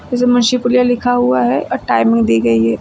लिखा हुआ है और टाइमिंग दी हुई है।